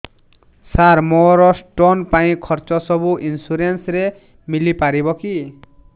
ସାର ମୋର ସ୍ଟୋନ ପାଇଁ ଖର୍ଚ୍ଚ ସବୁ ଇନ୍ସୁରେନ୍ସ ରେ ମିଳି ପାରିବ କି